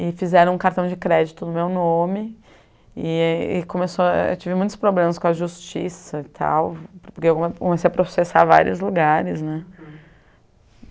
E fizeram um cartão de crédito no meu nome e e começou... Eu tive muitos problemas com a justiça e tal, porque eu comecei a processar em vários lugares, né?